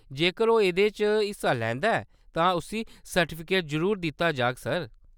जेकर ओह्‌‌ एह्‌‌‌दे च हिस्सा लैंदा ऐ तां उस्सी सर्टिफिकेट जरूर दित्ता जाह्ग, सर।